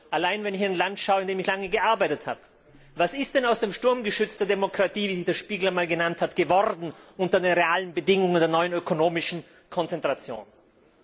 Allein wenn ich in ein Land schaue, in dem ich lange gearbeitet habe Was ist denn aus dem Sturmgeschütz der Demokratie, wie sie der Spiegel einmal genannt hat, unter den realen Bedingungen der neuen ökonomischen Konzentration geworden?